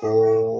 Awɔ